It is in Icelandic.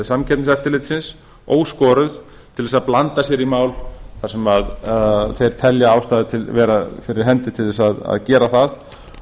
samkeppniseftirlitsins óskoruð til að blanda sér í mál þar sem þeir telja ástæðu vera fyrir hendi til að gera það